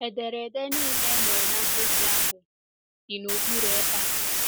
Ederede nile e mere na mkpebi ahụ dị n’okpuru ebe a.